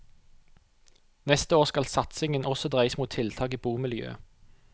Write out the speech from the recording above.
Neste år skal satsingen også dreies mot tiltak i bomiljøet.